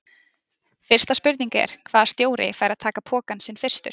Fyrsta spurning er: Hvaða stjóri fær að taka pokann sinn fyrstur?